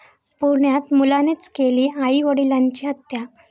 पुण्यात मुलानेच केली आई वडिलांची हत्या